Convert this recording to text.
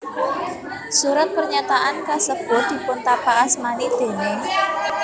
Surat pernyataan kasebut dipuntapakasmani déning